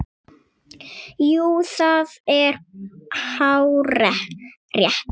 Jú, það er hárrétt